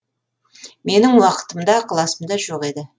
менің уақытым да ықыласым да жоқ еді